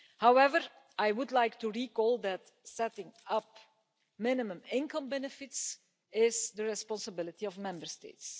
However, I would like to recall that the setting-up of minimum income benefits is the responsibility of Member States.